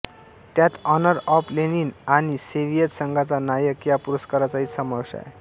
त्यात honour of Lenin आणि Soviet संघाचा नायक या पुरस्कारांचाही समावेश आहे